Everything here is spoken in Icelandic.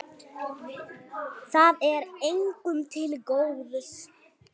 Það er engum til góðs.